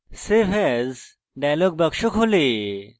save as dialog box খোলে